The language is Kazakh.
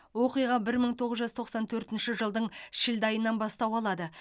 оқиға бір мың тоғыз жүз тоқсан төртінші жылдың шілде айынан бастау алады